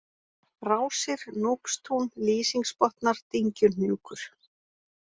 Rásir, Núpstún, Lýsingsbotnar, Dyngjuhnjúkur